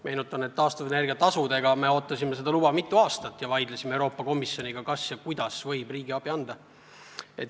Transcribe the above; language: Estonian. Meenutan, et taastuvenergia tasude puhul me ootasime seda luba mitu aastat ja vaidlesime Euroopa Komisjoniga, kuidas ja kas üldse võib riigiabi anda.